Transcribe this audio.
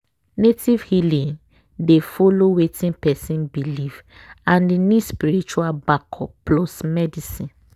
native healing dey follow wetin person believe and e need spiritual backup plus medicine.